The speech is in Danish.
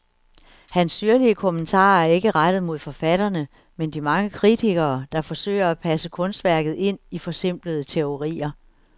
Hans syrlige kommentarer er ikke rettet mod forfatterne, men de mange kritikere, der forsøger at passe kunstværket ind i forsimplende teorier.